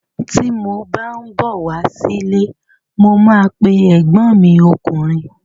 Ti mo bá n bọ wá sí ilé, mo ma pe ẹgbọn mi ọkùnrin.